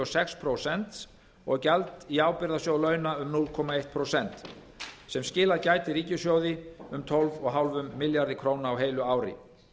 sex prósent og gjald í ábyrgðarsjóð launa um núll komma eitt sem skilað gæti ríkissjóði um tólf og hálfum milljarði króna á heilu ári